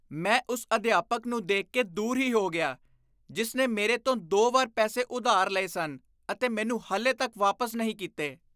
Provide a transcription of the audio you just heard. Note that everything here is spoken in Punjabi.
ਮੈਂ ਉਸ ਅਧਿਆਪਕ ਨੂੰ ਦੇਖ ਕੇ ਦੂਰ ਹੀ ਹੋ ਗਿਆ ਜਿਸ ਨੇ ਮੇਰੇ ਤੋਂ ਦੋ ਵਾਰ ਪੈਸੇ ਉਧਾਰ ਲਏ ਸਨ ਅਤੇ ਮੈਨੂੰ ਹਾਲੇ ਤੱਕ ਵਾਪਸ ਨਹੀਂ ਕੀਤੇ।